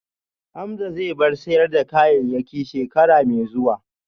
Hamza zai bar sayar da kayayyaki shekara mai zuwa